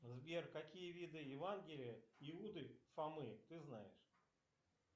сбер какие виды евангелия иуды фомы ты знаешь